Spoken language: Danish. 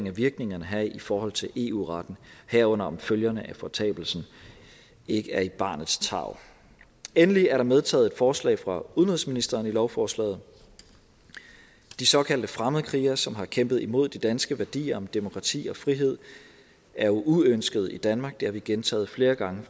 af virkningerne her i forhold til eu retten herunder om følgerne af fortabelsen ikke er i barnets tarv endelig er der medtaget et forslag fra udenrigsministeren i lovforslaget de såkaldte fremmedkrigere som har kæmpet imod de danske værdier om demokrati og frihed er uønskede i danmark det har vi gentaget flere gange